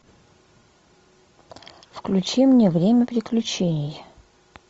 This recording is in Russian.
включи мне время приключений